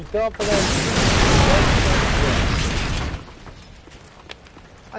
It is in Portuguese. Então, apesar de tudo os intempéries, o senhor chegou lá.